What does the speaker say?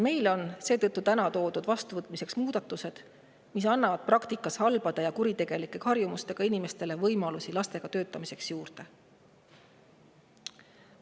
Meile on täna vastuvõtmiseks toodud muudatused, mis annavad praktikas halbade ja kuritegelike harjumustega inimestele lastega töötamise võimalusi juurde.